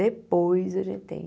Depois a gente tem.